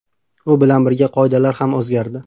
U bilan birga qoidalar ham o‘zgardi.